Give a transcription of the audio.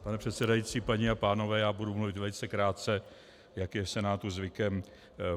Pane předsedající, paní a pánové, já budu mluvit velice krátce, jak je v Senátu zvykem.